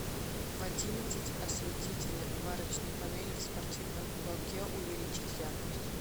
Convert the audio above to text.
в одиннадцать осветитель варочной панели в спортивном уголке увеличить яркость